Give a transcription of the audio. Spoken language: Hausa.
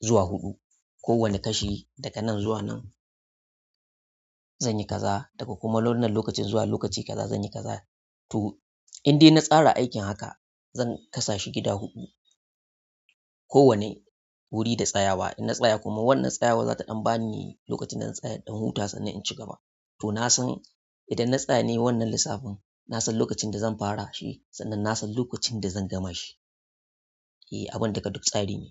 zuwa huɗu. Ko wane kashi daga nan zuwa nan zanyi kaza daga kuma wannan lokacin zuwa lokaci kaza zanyi kaza. To in dai na tsara aikin haka zan kasashi gida huɗu. Ko wane wuri da tsayawa. In na tsaya kuma wannan tsayawa za ta ɗan bani lokacin da zan tsaya inɗan huta sannan in ci gaba. To na san idan na tsaya nayi wannan lissafin, na san lokacin da zan fara shi sannan na san lokacin da zan gama shi. Eh abun duka duk tsari ne.